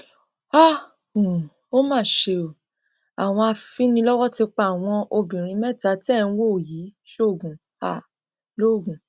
ó um mà ṣe o àwọn afinilọwọ ti pa àwọn obìnrin mẹta tẹ ẹ ń wò yìí sóògùn um logun